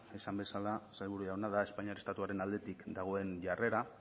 esan bezala sailburu jauna da espainia estatuaren aldetik dagoen jarrera